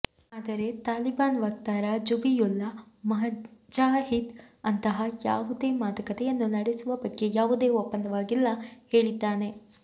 ಆದರೆ ತಾಲಿಬಾನ್ ವಕ್ತಾರ ಝಬಿಯುಲ್ಲಾ ಮುಜಾಹಿದ್ ಅಂತಹ ಯಾವುದೇ ಮಾತುಕತೆಯನ್ನು ನಡೆಸುವ ಬಗ್ಗೆ ಯಾವುದೇ ಒಪ್ಪಂದವಾಗಿಲ್ಲ ಹೇಳಿದ್ದಾನೆ